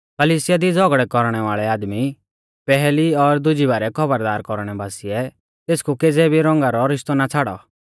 कलिसिया दी झ़ौगड़ै कौरणै वाल़ै आदमी पैहली और दुज़ी बारै खौबरदार कौरणै बासिऐ तेसकु केज़ै भी रौंगा रौ रिश्तौ ना छ़ाड़ौ